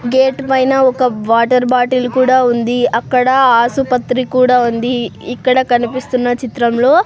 gate పైన ఒక water bottle కూడా ఉంది అక్కడ ఆసుపత్రి కూడ ఉంది ఇక్కడ కనిపిస్తున్న చిత్రం లో--